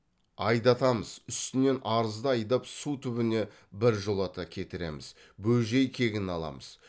айдатамыз үстінен арызды айдап су түбіне біржолата кетіреміз бөжей кегін аламыз